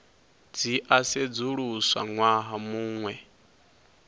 dzi a sedzuluswa ṅwaha muṅwe